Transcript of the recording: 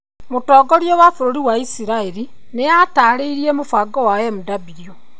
Mũtongoria wa bũrũri wa Isiraeli nĩ aatarĩirie mũbango wa Mw.